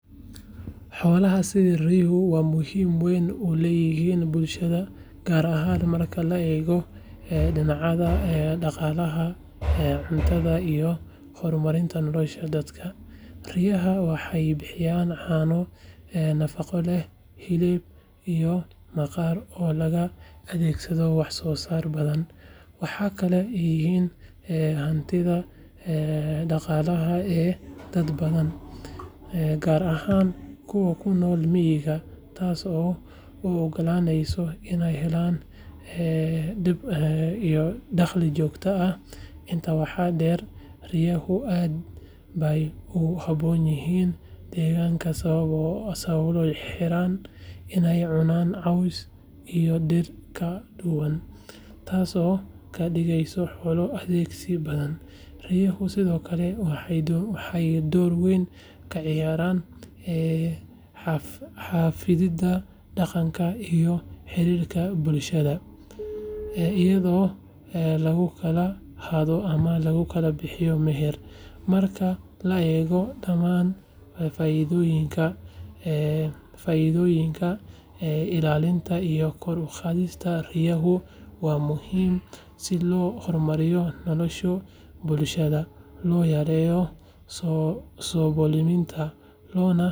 Xoolaha sida ri’uhu waxay muhiimad weyn u leeyihiin bulshada, gaar ahaan marka la eego dhinacyada dhaqaalaha, cuntada, iyo horumarinta nolosha dadka. Riyaha waxay bixiyaan caano nafaqo leh, hilib, iyo maqaarka oo loo adeegsado wax soo saar badan. Waxay kaloo yihiin hantida dhaqaalaha ee dad badan, gaar ahaan kuwa ku nool miyiga, taas oo u oggolaaneysa inay helaan dakhli joogto ah. Intaa waxaa dheer, riyaha aad bay ugu habboon yihiin deegaanka sababo la xiriira inay cunaan caws iyo dhir kala duwan, taasoo ka dhigaysa xoolo adkeysi badan. Riyaha sidoo kale waxay door weyn ka ciyaaraan xafididda dhaqanka iyo xiriirka bulshada, iyadoo lagu kala hadho ama lagu bixiyo meher. Marka la eego dhammaan faa’iidooyinkan, ilaalinta iyo kor u qaadidda riyaha waa muhiim si loo horumariyo nolosha bulshada, loo yareeyo saboolnimada, loona.